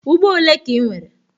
Ugbo ole ka i nwere?